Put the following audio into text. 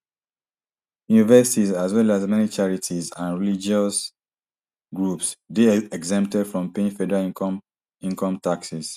universities as well as many charities and religious groups dey exempted from paying federal income income taxes